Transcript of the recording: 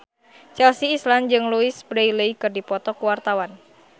Chelsea Islan jeung Louise Brealey keur dipoto ku wartawan